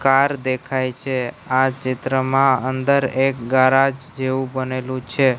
Car દેખાય છે આ ચિત્રમાં અંદર એક ગારાજ જેવુ બનેલુ છે.